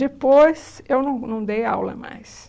Depois, eu não não dei aula mais.